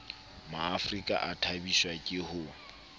maafrika a thabiswa ke ho